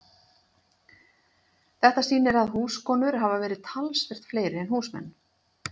þetta sýnir að húskonur hafa verið talsvert fleiri en húsmenn